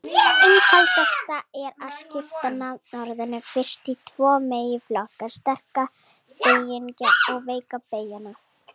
Einfaldast er að skipta nafnorðum fyrst í tvo meginflokka: sterka beygingu og veika beygingu.